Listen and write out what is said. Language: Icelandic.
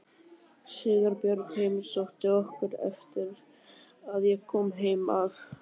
Sigurbjörg heimsótti okkur eftir að ég kom heim af